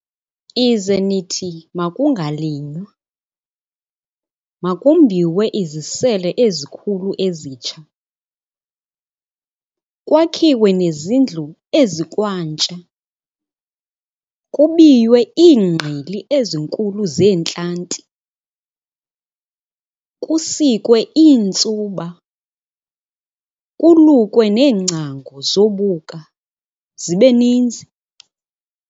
"Ize nithi makungalinywa, makumbiwe izisele ezikhulu ezitsha, kwakhiwe nezindlu ezikwantsha, kubiywe iingqili ezinkulu zeentlanti, kusikwe iintsuba, kulukwe neengcango "zobuka" zibe ninzi.